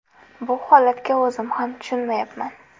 Bu holatga o‘zim ham tushunmayapman.